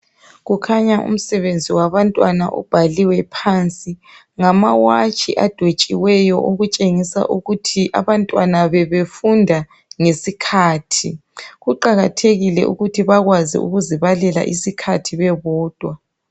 Kukhanya umsebenzi wabantwana ubhaliwe phansi ngama watshi adwetshiweyo okutshengisa ukuthi abantwana bebefunda ngesikhathi, kuqakathekile ukuthi bakwazi ukuzibalela isikhathi bebodwa.